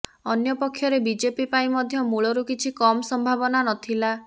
ଅନ୍ୟପକ୍ଷରେ ବିଜେପି ପାଇଁ ମଧ୍ୟ ମୂଳରୁ କିଛି କମ ସମ୍ଭାବନା ନ ଥିଲା